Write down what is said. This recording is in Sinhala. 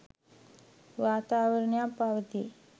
වාතාවරණයක් පවතී.